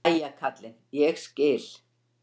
Jæja kallinn, ég skil.